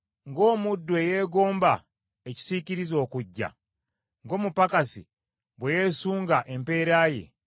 Ng’omuddu eyeegomba ekisiikirize okujja, ng’omupakasi bwe yeesunga empeera ye;